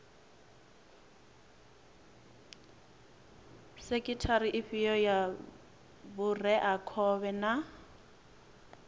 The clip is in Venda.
sekhithara ifhio ya vhureakhovhe na